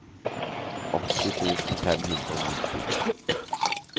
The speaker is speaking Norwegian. åtti tusen fem hundre og nitti